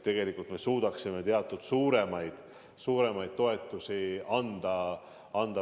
Tegelikult me suudaksime teatud suuremaid summasid toetust anda.